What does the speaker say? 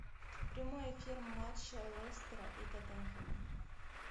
прямой эфир матча лестера и тоттенхэма